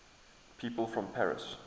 people from paris